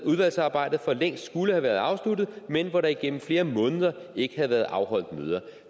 udvalgsarbejdet for længst skulle have været afsluttet men hvor der igennem flere måneder ikke havde været afholdt møder